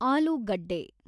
ಆಲೂಗಡ್ಡೆ